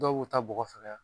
Dɔw ta bɔgɔ fɛkɛya.